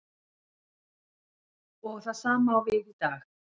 Og það sama á við í dag.